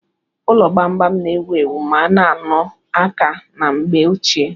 Ụlọ gbam-gbam na-ewu ewu ma na-ano aka ná mgbe ochie.